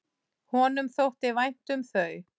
Honum þótti vænt um þau.